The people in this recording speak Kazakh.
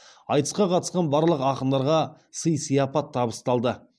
айтысқа қатысқан барлық ақындарға сый сияпат табысталды